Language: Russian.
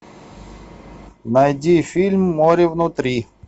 найди фильм море внутри